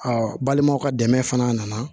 balimaw ka dɛmɛ fana nana